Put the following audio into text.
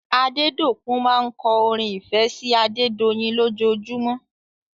Adedokun máa ń kọ́ orin ìfẹ́ sí Adedoyin lòjojumọ́